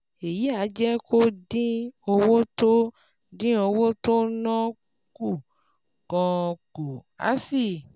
Èyí á jẹ́ kó o dín owó tó dín owó tó ò ń ná kù gan-an kù, á sì